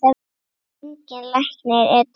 Engin lækning er til.